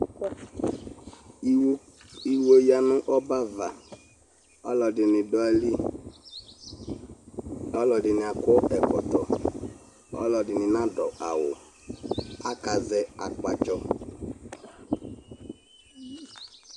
iwɔ, iwɔ yanʋ ɔbɛ aɣa, ɔlɔdini dʋaili, ɔlɔdini akɔ ɛkɔtɔ ,ɔlɔdini nakɔ ɛkɔtɔ awʋ aka zɛ akpatsɔ